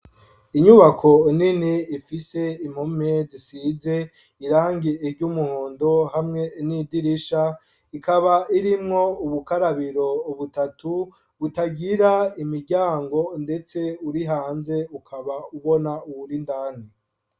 Inyubako nini ifise impume zisize irangye iryo umuhondo hamwe n'idirisha ikaba irimwo ubukarabiro ubutatu butagira imiryango, ndetse uri hanze ukaba ubona uwurindane.